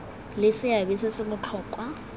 le seabe se se botlhokwa